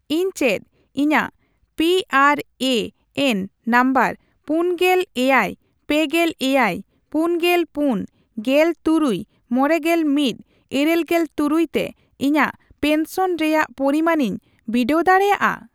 ᱤᱧ ᱪᱮᱫ ᱤᱧᱟᱜ P R A N number ᱯᱩᱱᱜᱮᱞ ᱮᱭᱟᱭ ᱯᱮᱜᱮᱞ ᱮᱭᱟᱭ ᱯᱩᱱᱜᱮᱞ ᱯᱩᱱ, ᱜᱮᱞ ᱛᱩᱨᱩᱭ, ᱢᱚᱲᱮᱜᱮᱞ ᱢᱤᱫ, ᱤᱨᱟᱹᱞᱜᱮᱞ ᱛᱩᱨᱩᱭ ᱛᱮ ᱤᱧᱟᱜ ᱯᱮᱱᱥᱚᱱ ᱨᱮᱭᱟᱜ ᱯᱚᱨᱤᱢᱟᱱᱤᱧ ᱵᱤᱰᱟᱹᱣ ᱫᱟᱲᱮᱭᱟᱜᱼᱟ ?